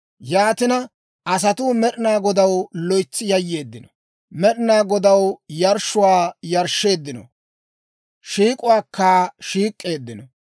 Yaatina, asatuu Med'inaa Godaw loytsi yayyeeddino; Med'inaa Godaw yarshshuwaa yarshsheeddino; shiik'uwaakka shiik'k'eeddino.